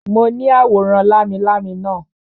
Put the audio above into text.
Mo ní àwòrán lámilámi naa